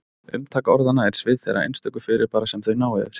Umtak orðanna er svið þeirra einstöku fyrirbæra sem þau ná yfir.